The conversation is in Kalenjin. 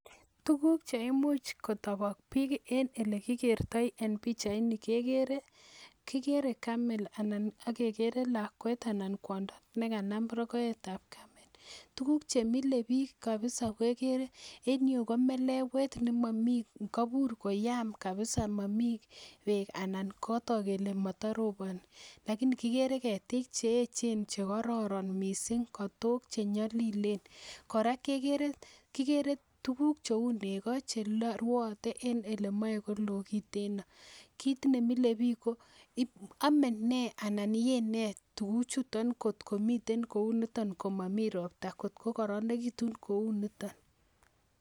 Tukuk che imuch kotobok bik ele kikertoi en pichaini kekere kikere camel ana akekere lakwet anan kwondo ne kama rokoet tab camel tukuk chemile kabisa kekere en ireyuu komelewet nemomii koibiur koyam kabisa nemomii beek anan kotok kele motoroboni lakini kikere ketik cheyechen chekororon missing kotok che nyolilen koraa kekere tukuk cheu neko cheruote en ole moikolo kiteno, kit nemile bik ko omen nee anan yee nee tuku chutok kotko miten kounitok komomiten ropta kotko koronekitun kou niton.